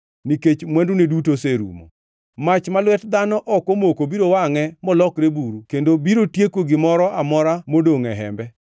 nikech mwandune duto oserumo. Mach ma lwet dhano ok omoko biro wangʼe molokre buru kendo biro tieko gimoro amora modongʼ e hembe.